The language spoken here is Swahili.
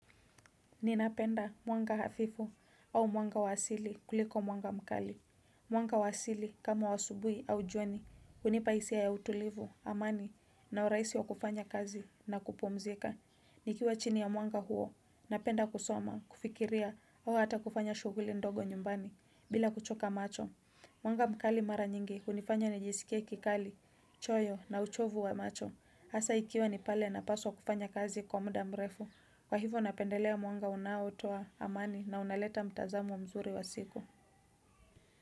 Ninapenda mwanga hafifu au mwanga wa asili kuliko mwanga mkali Mwanga wa asili kama wa asubuhi au juani hunipa hisia ya utulivu amani na urahisi wa kufanya kazi na kupumzika nikiwa chini ya mwanga huo napenda kusoma kufikiria au hata kufanya shughuli ndogo nyumbani bila kuchoka macho Mwanga mkali mara nyingi hunifanya nijisikie kikali choyo na uchovu wa macho Hasa ikiwa ni pale napaswa kufanya kazi kwa muda mrefu. Kwa hivyo napendelea mwanga unaotoa wa amani na unaleta mtazamo mzuri wa siku.